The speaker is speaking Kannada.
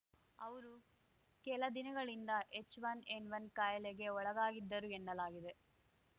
ಅವರು ಕೆಲ ದಿನಗಳಿಂದ ಹೆಚ್‌ಒನ್ಎನ್‌ಒನ್ ಕಾಯಿಲೆಗೆ ಒಳಗಾಗಿದ್ದರು ಎನ್ನಲಾಗಿದೆ